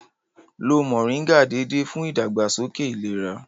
Lo Mọ̀ríngà déédéé fún ìdàgbàsókè ìlera